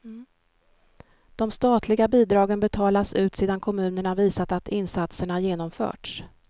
De statliga bidragen betalas ut sedan kommunerna visat att insatserna genomförts.